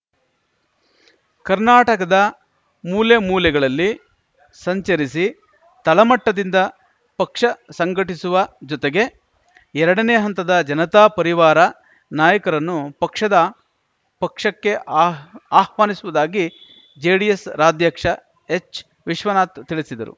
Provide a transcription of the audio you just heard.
ಕರ್ನಾಟಕದ ಮೂಲೆ ಮೂಲೆಗಳಲ್ಲಿ ಸಂಚರಿಸಿ ತಳಮಟ್ಟದಿಂದ ಪಕ್ಷ ಸಂಘಟಿಸುವ ಜೊತೆಗೆ ಎರಡನೇ ಹಂತದ ಜನತಾ ಪರಿವಾರ ನಾಯಕರನ್ನು ಪಕ್ಷದ ಪಕ್ಷಕ್ಕೆ ಆಹ್ವಾ ಆಹ್ವಾನಿಸುವುದಾಗಿ ಜೆಡಿಎಸ್‌ ರಾಧ್ಯಕ್ಷ ಎಚ್‌ವಿಶ್ವನಾಥ್‌ ತಿಳಿಸಿದರು